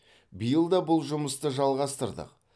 биыл да бұл жұмысты жалғастырдық